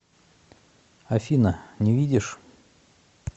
афина не видишь